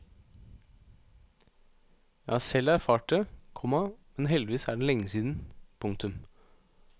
Jeg har selv erfart det, komma men heldigvis er det lenge siden. punktum